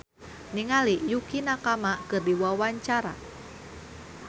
Laura Basuki olohok ningali Yukie Nakama keur diwawancara